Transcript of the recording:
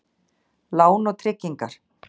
Lán og tryggingar.